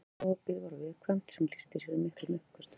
Magaopið var viðkvæmt sem lýsti sér í miklum uppköstum.